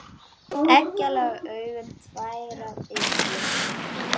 Egglaga augun tær af lygi.